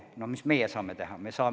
Noh, mis meie saame teha?